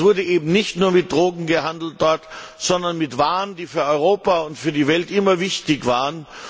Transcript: Dort wurde eben nicht nur mit Drogen gehandelt, sondern mit Waren, die für Europa und die Welt immer wichtig waren.